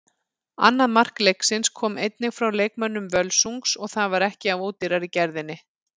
Annað mark leiksins kom einnig frá leikmönnum Völsungs og það var ekki af ódýrari gerðinni.